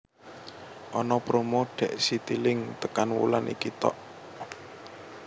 Ono promo dek Citilink tekan wulan iki tok